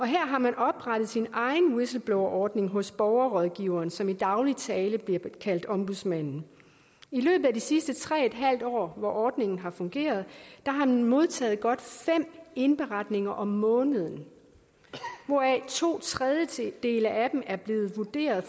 her har man oprettet sin egen whistleblowerordning hos borgerrådgiveren som i daglig tale bliver kaldt ombudsmanden i løbet af de sidste tre en halv år hvor ordningen har fungeret har den modtaget godt fem indberetninger om måneden hvoraf to tredjedele af dem er blevet vurderet